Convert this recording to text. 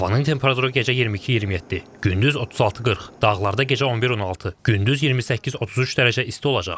Havanın temperaturu gecə 22-27, gündüz 36-40, dağlarda gecə 11-16, gündüz 28-33 dərəcə isti olacaq.